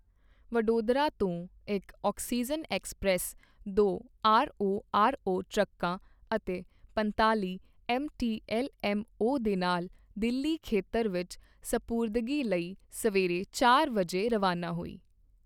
ਵਡੋਦਰਾ ਤੋਂ ਇੱਕ oxygen express ਦੋ ਆਰਓਆਰਓ ਟਰੱਕਾਂ ਅਤੇ ਪੰਤਾਲ਼ੀ ਐੱਮਟੀ ਐੱਲਐੱਮਓ ਦੇ ਨਾਲ ਦਿੱਲੀ ਖੇਤਰ ਵਿੱਚ ਸਪੁਰਦਗੀ ਲਈ ਸਵੇਰੇ ਚਾਰ ਵਜੇ ਰਵਾਨਾ ਹੋਈ।